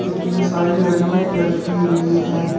Missile लड़ी लगी हुई हैं।